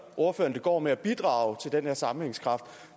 ordføreren det går med at bidrage til den her sammenhængskraft